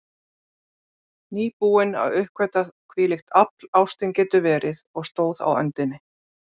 Nýbúin að uppgötva hvílíkt afl ástin getur verið, og stóð á öndinni.